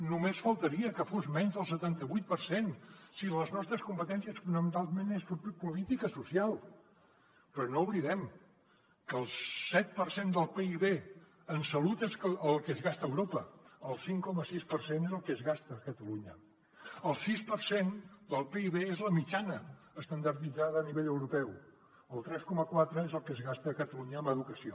només faltaria que fos menys del setanta vuit per cent si les nostres competències fonamentalment són fer política social però no oblidem que el set per cent del pib en salut és el que es gasta a europa el cinc coma sis per cent és el que es gasta a catalunya el sis per cent del pib és la mitjana estandarditzada a nivell europeu el tres coma quatre és el que es gasta a catalunya en educació